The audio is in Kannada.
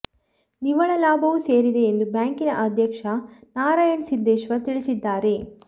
ನಿವ್ವಳ ಲಾಭವೂ ಸೇರಿದೆ ಎಂದು ಬ್ಯಾಂಕಿನ ಅಧ್ಯಕ್ಷ ನಾರಾಯಣ ಸಿದ್ದೇಶ್ವರ ತಿಳಿಸಿದ್ದಾರೆ